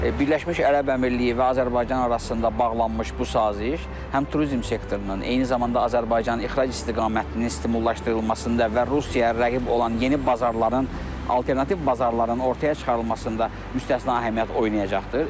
Birləşmiş Ərəb Əmirliyi və Azərbaycan arasında bağlanmış bu saziş həm turizm sektorunun, eyni zamanda Azərbaycanın ixrac istiqamətinin stimullaşdırılmasında və Rusiyaya rəqib olan yeni bazarların, alternativ bazarların ortaya çıxarılmasında müstəsna əhəmiyyət oynayacaqdır.